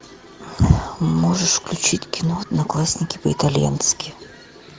можешь включить кино одноклассники по итальянски